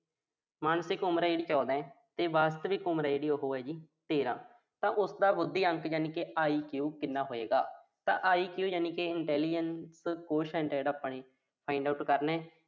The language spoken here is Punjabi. ਮਾਨਸਿਕ ਉਮਰ ਆ ਜਿਹੜੀ ਉਹੋ ਚੌਦਾਂ ਤੇ ਵਾਸਤਵਿਕ ਉਮਰ ਆ ਜਿਹੜੀ ਉਹੋ ਤੇਰ੍ਹਾਂ, ਤਾਂ ਉਸਦਾ ਬੱਧੀ ਅੰਕ ਯਾਨੀ ਕਿ IQ ਕਿੰਨਾ ਹੋਏਗਾ। ਤਾਂ IQ ਜਿਹੜਾ ਕਿ intelligence quotient ਆ ਆਪਾਂ ਨੇ find out ਕਰਨਾ।